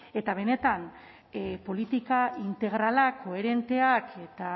eta benetan politika integralak koherenteak eta